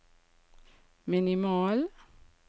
minimal